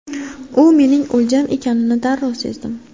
U mening o‘ljam ekanini darrov sezdim.